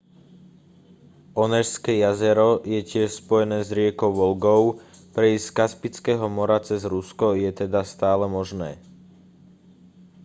onežské jazero je tiež spojené s riekou volgou prejsť z kaspického mora cez rusko je teda stále možné